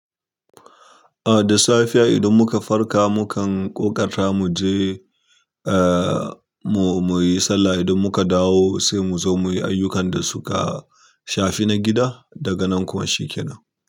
Ah da safe idan muka farka, mukan ƙoƙata mu je eh mu, muyi sallah. Idan muka dawo sai mu zo muyi ayyukan da suka shafi na gida. Daga nan kuma shi ke nan.